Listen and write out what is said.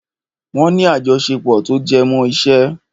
Wọ́n ní àjọṣepọ̀ tó jẹmọ́ iṣẹ́.